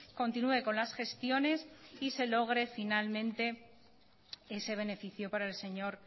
continúe con las gestiones y se logre finalmente ese beneficio para el señor